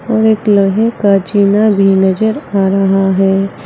और एक लोहे का जीना भी नजर आ रहा है।